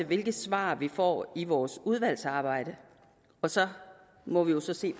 hvilke svar vi får i vores udvalgsarbejde og så må vi jo se